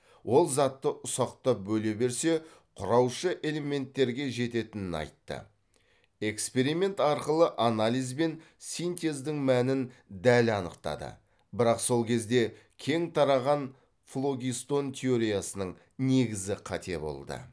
ол затты ұсақтап бөле берсе құраушы элементтерге жететінін айтты эксперимент арқылы анализ бен синтездің мәнін дәл анықтады бірақ сол кезде кең тараған флогистон теориясының негізі қате болды